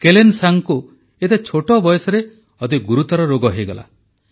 କେଲେନ୍ସାଙ୍ଗଙ୍କୁ ଏତେ ଛୋଟ ବୟସରେ ଅତି ଗୁରୁତର ରୋଗ ହୋଇଗଲା